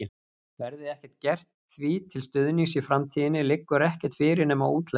Verði ekkert gert því til stuðnings í framtíðinni, liggur ekkert fyrir nema útlegðin.